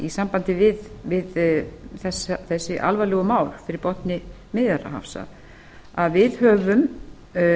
í sambandi við þessi alvarlegu mál fyrir botni miðjarðarhafs að við höfum